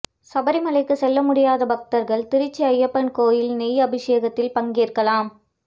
சபரிமலைக்கு செல்ல முடியாத பக்தர்கள் திருச்சி ஐயப்பன் கோயில் நெய் அபிஷேகத்தில் பங்கேற்கலாம்